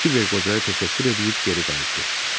Kibər qocaya təşəkkür eləyib geri qayıtdı.